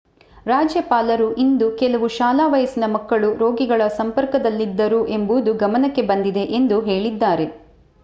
ರಾಜ್ಯಪಾಲರು ಇಂದು ಕೆಲವು ಶಾಲಾ ವಯಸ್ಸಿನ ಮಕ್ಕಳು ರೋಗಿಗಳ ಸಂಪರ್ಕದಲ್ಲಿದ್ದರು ಎಂಬುದು ಗಮನಕ್ಕೆ ಬಂದಿದೆ ಎಂದು ಹೇಳಿದ್ದಾರೆ